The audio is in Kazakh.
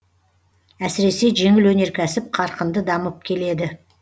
әсіресе жеңіл өнеркәсіп қарқынды дамып келеді